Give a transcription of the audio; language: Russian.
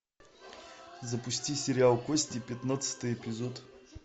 запусти сериал кости пятнадцатый эпизод